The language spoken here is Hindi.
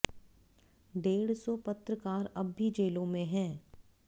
डेढ़ सौ पत्रकार अब भी जेलों में हैं